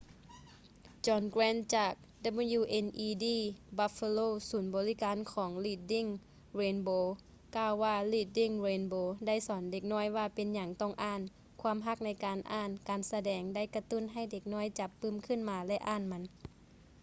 john grant ຈາກ wned buffalo ສູນບໍລິການຂອງ reading rainbow ກ່າວວ່າ reading rainbow ໄດ້ສອນເດັກນ້ອຍວ່າເປັນຫຍັງຕ້ອງອ່ານ ... ຄວາມຮັກໃນການອ່ານ — [ການສະແດງ] ໄດ້ກະຕຸ້ນໃຫ້ເດັກນ້ອຍຈັບປື້ມຂຶ້ນມາ ແລະ ອ່ານມັນ.